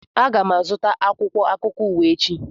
Aga m azụta akwụkwọ akụkọ ụwa echi